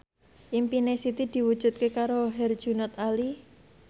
impine Siti diwujudke karo Herjunot Ali